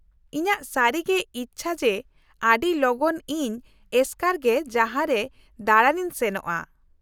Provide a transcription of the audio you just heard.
-ᱤᱧᱟᱹᱜ ᱥᱟᱹᱨᱤᱜᱮ ᱤᱪᱪᱷᱟᱹ ᱡᱮ ᱟᱹᱰᱤ ᱞᱚᱜᱚᱱ ᱤᱧ ᱮᱥᱠᱟᱨ ᱜᱮ ᱡᱟᱦᱟᱸᱨᱮ ᱫᱟᱲᱟᱱ ᱤᱧ ᱥᱮᱱᱚᱜᱼᱟ ᱾